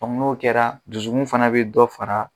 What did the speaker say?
Dɔnku n'o kɛra dusukun fɛnɛ be dɔ fara